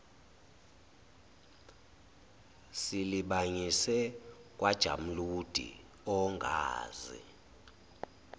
silibangise kwajamuludi ongazi